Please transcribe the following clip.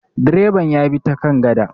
direban ya bi ta kan gada